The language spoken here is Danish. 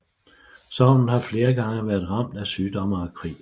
Sognet har flere gange været ramt af sygdomme og krig